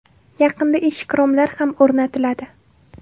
Yaqinda eshik-romlar ham o‘rnatiladi.